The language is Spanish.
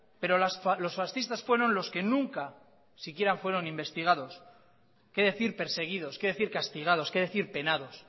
pero los fascistas fueron los que nunca siquiera fueron investigados qué decir perseguidos qué decir castigados qué decir penados